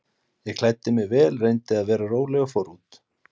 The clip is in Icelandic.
Ég klæddi mig vel, reyndi að vera róleg og fór út.